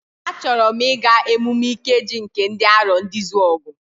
A chọrọ m ịga emume Ikeji nke ndị Arondizuogu.